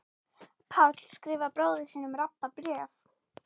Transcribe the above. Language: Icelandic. Páll skrifar bróður sínum Rabba bréf.